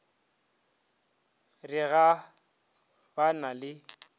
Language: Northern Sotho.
re ga ba na le